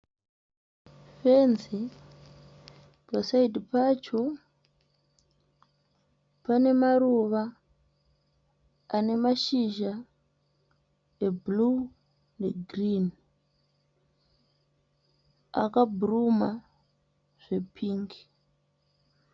Fenzi. Paside pacho pane maruva ane mashizha ebhuruu negirini akabhuruma zvepingi.